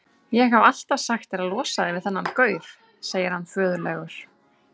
Ég hef alltaf sagt þér að losa þig við þennan gaur, segir hann föðurlegur.